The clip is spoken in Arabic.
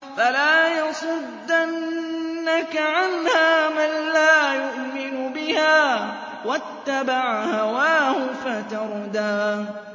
فَلَا يَصُدَّنَّكَ عَنْهَا مَن لَّا يُؤْمِنُ بِهَا وَاتَّبَعَ هَوَاهُ فَتَرْدَىٰ